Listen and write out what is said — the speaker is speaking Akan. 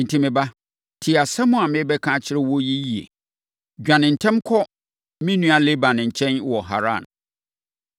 Enti, me ba, tie asɛm a merebɛka akyerɛ wo yi yie. Dwane ntɛm kɔ me nua Laban nkyɛn wɔ Haran.